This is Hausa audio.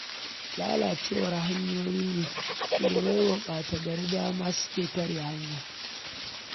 Lalacewar hanyoyin ne ke bai wa ɓata-gari dama suke tare hanya